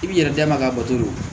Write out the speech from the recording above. I b'i yɛrɛ da ka bato